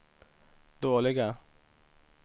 dåliga